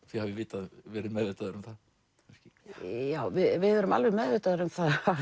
þið hafið verið meðvitaðar um það kannski já við erum alveg meðvitaðar um